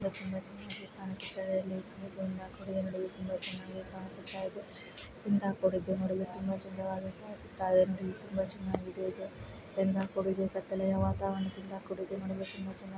ಇಲ್ಲಿ ತುಂಬಾ ಚೆನ್ನಾಗಿ ಕಾಣಿಸ್ತಾ ಇದೆ. ಇಲ್ಲಿಂದ ಕೊಡುಗೆ ನೋಡಲು ತುಂಬಾ ಚೆನ್ನಾಗಿ ಕಾಣಿಸ್ತಾ ಇದೆ. ಇಂಥ ಕೊಡುಗೆ ನೋಡಲು ತುಂಬಾ ಚೆನ್ನಾಗಿ ಕಾಣಿಸ್ತಾ ಇದೆ. ತುಂಬಾ ಚೆನ್ನಾಗಿ ಇದೇ ಇದು ತುಂಬಾ ಕೊಡುಗೆ ತುಂಬಾ ಕತ್ತಲೆ ವಾತಾವರಣ ಕೊಡುಗೆ ನೋಡಲು ತುಂಬಾ ಚೆನ್ನಾಗಿ ಕಾಣಿಸ್ತಾ ಇದೆ.